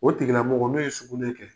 O tigilamɔgɔ n'o ye sugunƐ kɛ,